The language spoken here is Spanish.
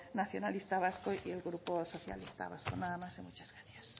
nacionalista vasco y el grupo socialista vasco nada más y muchas gracias